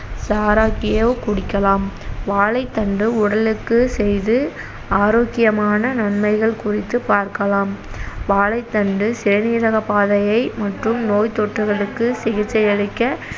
சாறாக்கியோ குடிக்கலாம் வாழைத்தண்டு உடலுக்கு செய்து ஆரோக்கியமான நன்மைகள் குறித்து பார்க்கலாம் வாழைத்தண்டு சிறுநீரகப்பாதையை மற்றும் நோய்த்தொற்றுகளுக்கு சிகிச்சையளிக்க